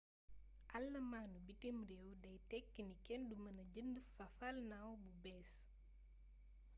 allamaanu bitim réew day tekki ni kenn du mëna jënd fafalnaaw bu bées